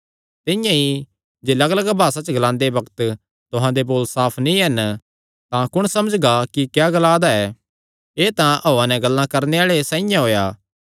तिंआं ई जे लग्गलग्ग भासा च ग्लांदे बग्त तुहां दे बोल साफ नीं हन तां कुण समझगा कि क्या ग्लादा ऐ एह़ तां हौआ नैं गल्लां करणे आल़े साइआं होएया